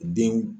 Denw